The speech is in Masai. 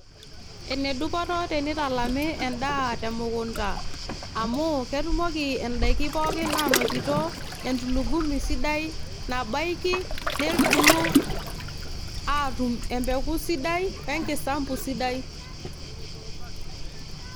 Ene dupoto teneitalami endaa te mukunta amu ketumoki indaiki pookin aanotito entulugumi sidai nabaiki, nebulu aatum empeku sidai oe nkisampu sidai.